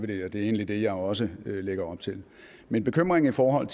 det er egentlig det jeg også lægger op til min bekymring i forhold